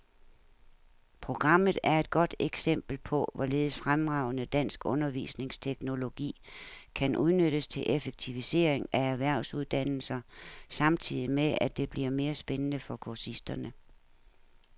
Programmet er et godt eksempel på, hvorledes fremragende dansk undervisningsteknologi kan udnyttes til effektivisering af erhvervsuddannelser samtidig med, at det bliver mere spændende for kursisterne.